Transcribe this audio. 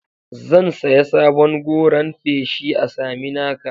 Zan saya sabon goran feshi a Saminaka.